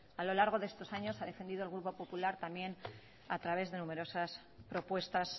a lo largo de estos años ha defendido el grupo popular también a través de numerosas propuestas